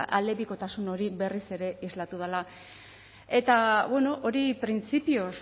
aldebikotasun hori berriz ere islatu dela eta hori printzipioz